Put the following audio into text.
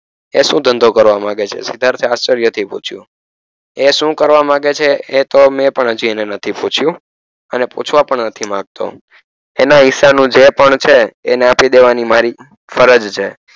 એ શું ધંધો કરવા માંગે છે સિદ્ધાર્થ આશ્ચર્ય થી પૂછ્યું એ શું કરવા માંગે છે એતો મે પણ હજી એને નથી પૂછ્યું અને પૂછવા પણ નથી માંગતો એના હિસ્સાનું જે પણ છે એને આપી દેવાની મારી ફરજ છે